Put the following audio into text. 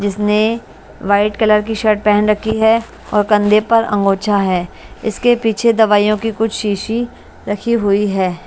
जिसने white colour की shirt पेहेन रखी है और कंधे पर अंगूछा है इसके पीछे दवाइयों की कुछ शीशी रखी हुई है।